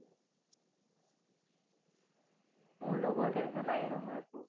মোৰ লগত এনেকুৱা নাইয়ে নহয় একো